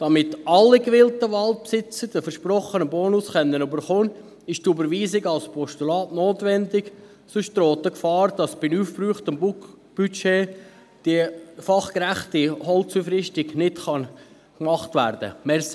Damit alle gewillten Waldbesitzer den versprochenen Bonus erhalten können, ist die Überweisung als Postulat notwendig, sonst droht die Gefahr, dass bei aufgebrauchtem Budget die fachgerechte Holzaufrüstung nicht gemacht werden kann.